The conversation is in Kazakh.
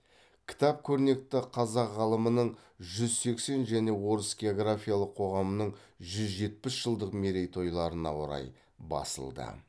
кітап көрнекті қазақ ғалымының жүз сексен және орыс географиялық қоғамының жүз жетпіс жылдық мерейтойларына орай басылды